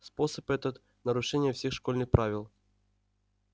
способ этот нарушение всех школьных правил